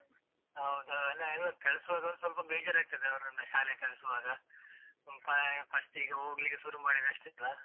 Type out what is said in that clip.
ಹೌದು ಹಾ, ಅಲ್ಲ ಎಲ್ಲ ಕಳ್ಸುವಾಗ ಸ್ವಲ್ಪ ಬೇಜಾರಾಗ್ತದೆ ಅವ್ರನ್ನ ಶಾಲೆಗೆ ಕಳಿಸ್ವಾಗ, ಅಹ್ first ಗೆ ಹೋಗ್ಲಿಕ್ಕೆ ಶುರು ಮಾಡಿದಷ್ಟೇ ಅಲಾ?